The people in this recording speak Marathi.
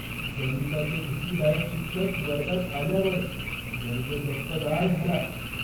गणिताचे भीतीदायक शिक्षक वर्गात आल्यावर वर्ग गप्पगार झाला.